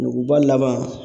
Nuguba laban